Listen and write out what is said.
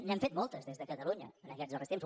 n’hem fet moltes des de catalunya en aquests darrers temps